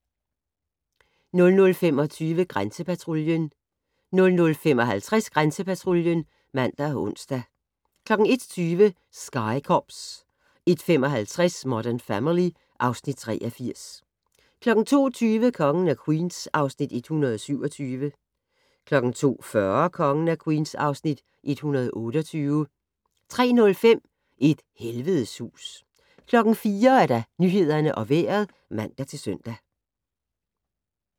00:25: Grænsepatruljen 00:55: Grænsepatruljen (man og ons) 01:20: Sky Cops 01:55: Modern Family (Afs. 83) 02:20: Kongen af Queens (Afs. 127) 02:40: Kongen af Queens (Afs. 128) 03:05: Et helvedes hus 04:00: Nyhederne og Vejret (man-søn)